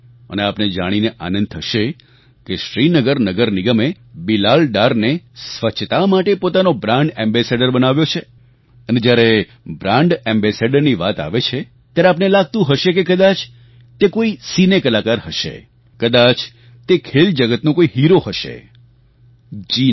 અને આપને જાણીને આનંદ થશે કે શ્રીનગર નગર નિગમે બિલાલ ડારને સ્વચ્છતા માટે પોતાનો બ્રાન્ડ એમ્બાસેડોર બનાવ્યો છે અને જ્યારે બ્રાન્ડ Ambassadorની વાત આવે છે ત્યારે આપને લાગતું હશે કે કદાચ તે કોઈ સિને કલાકાર હશે કદાચ તે ખેલજગતનો કોઈ હિરો હશે જી ના